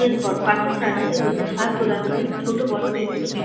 park -এর চারিধারে রয়েছে ছায়া প্রদানকারী ছোট বড় বিভিন্ন বিক --